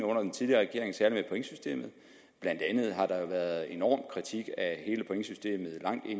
under den tidligere regering særlig af pointsystemet blandt andet har der været en enorm kritik af hele pointsystemet og